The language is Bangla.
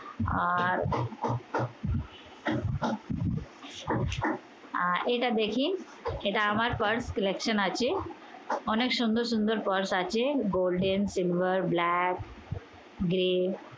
আর আহ এটা দেখি। এটা আমার purse selection আছে। অনেক সুন্দর সুন্দর purse আছে। golden, silver, black, grey